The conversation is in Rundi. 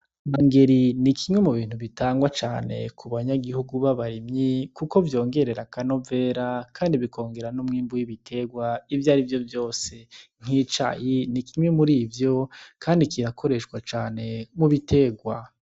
Inongeri nikimwe mubintu bitangwa cane kubanyagihugu ba barimyi kuko vyongerera akanovera kandi bikongera n'umwimbo w'ibitegwa ivyarivyo vyose nk'icayi nikimwe murivyo kandi cirakoreshwa cane mu bitegwa.